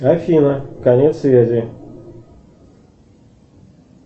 афина конец связи